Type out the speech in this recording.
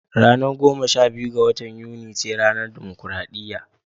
Ranar goma sha biyu ga watan Yuni ca ranar dimokradiyya